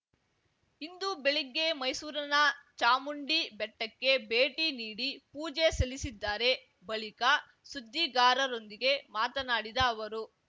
ಇಂದು ಬೆಳಿಗ್ಗೆ ಮೈಸೂರಿನ‌ ಚಾಮುಂಡಿ ಬೆಟ್ಟಕ್ಕೆ ಭೇಟಿ ನೀಡಿ ಪೂಜೆ ಸಲ್ಲಿಸಿದ್ದಾರೆ ಬಳಿಕ ಸುದ್ದಿಗಾರರೊಂದಿಗೆ ಮಾತನಾಡಿದ ಅವರು